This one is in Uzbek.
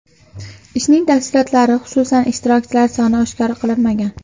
Ishning tafsilotlari, xususan, ishtirokchilar soni oshkor qilinmagan.